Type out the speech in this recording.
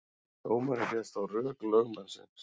Dómarinn féllst á rök lögmannsins